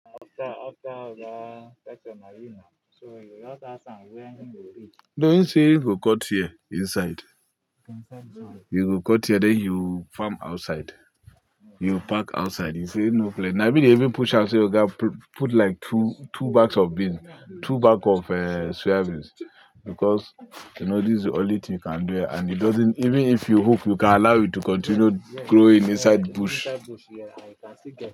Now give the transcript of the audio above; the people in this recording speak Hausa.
No, him say you go cut here inside. Inside bush. You go cut here then you farm outside. You park outside. He say no plenty. Na him they even push am say oga put like two, two bags of beans, two bag of, uh, soya beans because you know, this is the only thing you can do and it doesn't-- Even if you hope, you can allow it to continue growing inside bush. Inside bush, yeah, and you can still get.